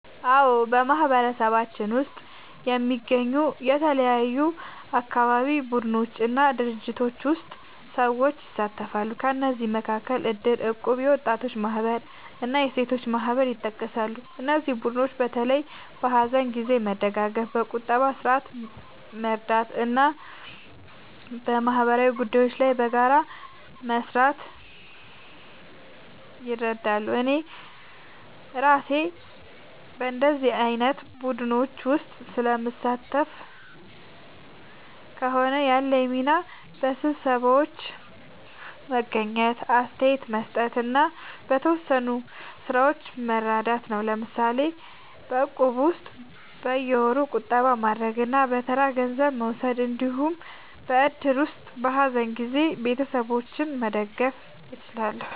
አዎ፣ በማህበረሰባችን ውስጥ የሚገኙ የተለያዩ አካባቢ ቡድኖች እና ድርጅቶች ውስጥ ሰዎች ይሳተፋሉ። ከእነዚህ መካከል እድር፣ እቁብ፣ የወጣቶች ማህበር እና የሴቶች ማህበር ይጠቀሳሉ። እነዚህ ቡድኖች በተለይ በሀዘን ጊዜ መደጋገፍ፣ በቁጠባ ስርዓት መርዳት እና በማህበራዊ ጉዳዮች ላይ በጋራ መስራት ይረዳሉ። እኔ እራሴ በእንዲህ ዓይነት ቡድኖች ውስጥ ስለምሳተፍ ከሆነ፣ ያለኝ ሚና በስብሰባዎች መገኘት፣ አስተያየት መስጠት እና በተወሰኑ ሥራዎች መርዳት ነው። ለምሳሌ በእቁብ ውስጥ በየወሩ ቁጠባ ማድረግ እና በተራ ገንዘብ መውሰድ እንዲሁም በእድር ውስጥ በሀዘን ጊዜ ቤተሰቦችን መደገፍ እችላለሁ።